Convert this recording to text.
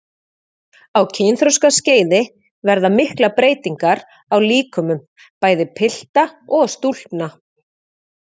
Á kynþroskaskeiði verða miklar breytingar á líkömum bæði pilta og stúlkna.